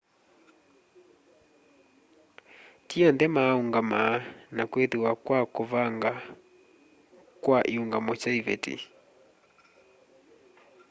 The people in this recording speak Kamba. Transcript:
ti onthe maa ũngama na kwĩthĩwa kwa kũvangwa kwa iũngamo sya ivetĩ